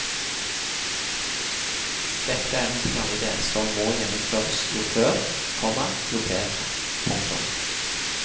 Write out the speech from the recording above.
Dette er en knallidé som må gjennomføres jo før, komma jo bedre. punktum